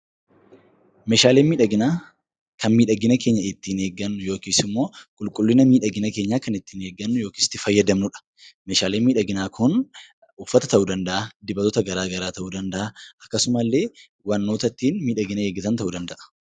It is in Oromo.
Meeshaaleen miidhaginaa kan miidhagina keenya ittiin eeggannu yookiis immoo qulqullina miidhagina keenyaa kan ittiin eeggannu yookiis itti fayyadamnudha. Meeshaaleen miidhaginaa kun uffata ta'uu danda'a, dibatoota garaa garaa ta'uu danda'a akkasuma illee wantoota ittiin miidhagina eeggatan ta'uu danda'a.